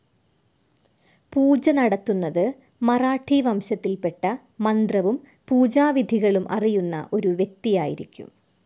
പൂജ നടത്തുന്നത് മറാഠി വംശത്തിൽപ്പെട്ട മന്ത്രവും പൂജാവിധികളും അറിയുന്ന ഒരു വ്യക്തിയായിരിക്കും.